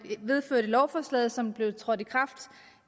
vedtog et lovforslag som trådte i kraft